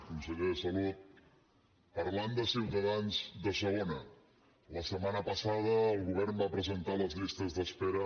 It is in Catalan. conseller de salut parlant de ciutadans de segona la setmana passada el govern va presentar les llistes d’espera